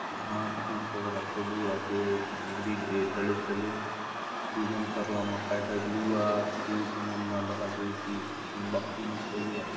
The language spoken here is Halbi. घास फूस वगैरा सबु आचे ए डी तले - तले डिज़ाइन करला मा काय - काय लोहा शीट मन मा दखा देयसि आचे खंबा खुंबी सबु आचे।